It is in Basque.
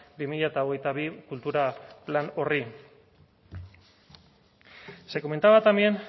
bi mila hogeita bi kultura plan horri se comentaba también